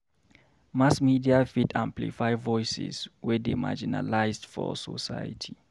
Mass media fit amplify voices wey dey marginalized for society.